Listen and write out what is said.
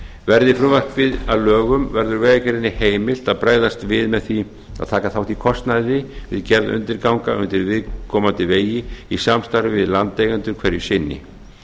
verði frumvarpið að lögum verður vegagerðinni heimilt að bregðast við með því að taka þátt í kostnaði við gerð undirganga undir viðkomandi vegi í samstarfi við landeigendur hverju sinni